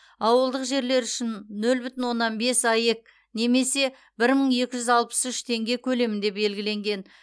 ауылдық жерлер үшін нөл бүтін оннан бес аек немесе бір мың екі жүз алпыс үш теңге көлемінде белгіленген